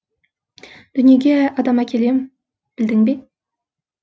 дүниеге адам әкелем білдің бе